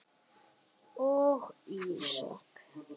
og Ísak.